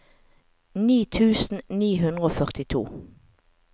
ni tusen ni hundre og førtito